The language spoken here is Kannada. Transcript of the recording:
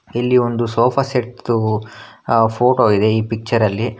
ಇಲ್ಲಿ ಒಂದು ಸೋಫಾ ಸೆಟ್ ದು ಅ ಫೋಟೋ ಇದೆ ಈ ಪಿಚ್ಚರ್ ಅಲ್ಲಿ--